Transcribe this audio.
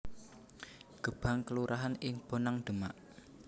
Gebang kelurahan ing Bonang Demak